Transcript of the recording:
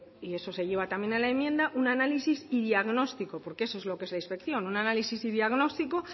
y eso se lleva también a la enmienda un análisis y diagnóstico porque eso es la inspección un análisis y diagnóstico